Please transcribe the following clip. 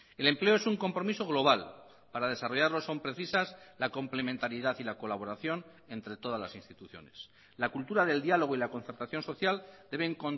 el empleo es un compromiso global para desarrollarlo son precisas la complementariedad y la colaboración entre todas las instituciones la cultura del diálogo y la concertación social deben